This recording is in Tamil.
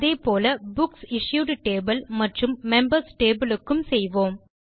அதே போல் புக்சிஷ்யூட் டேபிள் மற்றும் மெம்பர்ஸ் டேபிள் க்கும் செய்வோம்